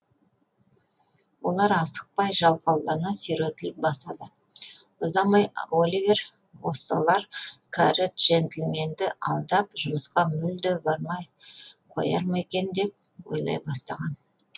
олар асықпай жалқаулана сүйретіліп басады ұзамай оливер осылар кәрі джентльменді алдап жұмысқа мүлде бармай қояр ма екен деп ойлай бастаған